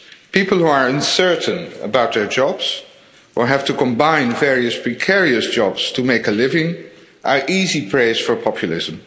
People who are uncertain about their jobs or have to combine various precarious jobs to make a living are easy prey for populism.